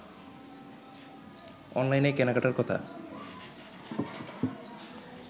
অনলাইনে কেনাকাটার কথা